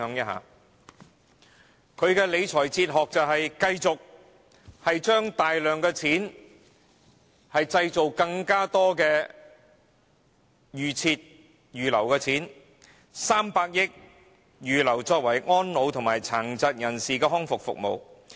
他的理財哲學是繼續將大量金錢撥作預留基金，例如預留300億元作為安老和殘疾人士的康復服務。